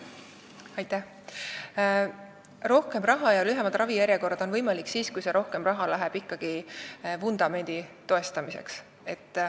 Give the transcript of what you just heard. Rohkem raha ja lühemad ravijärjekorrad on võimalik siis, kui see rohkem raha läheb ikkagi vundamendi toestamiseks.